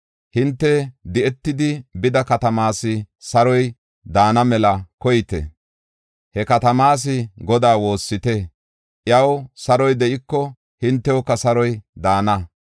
Hinte di7etidi bida katamaas saroy daana mela koyite. He katamaas Godaa woossite. Iyaw saroy de7iko, hintewuka saroy daana.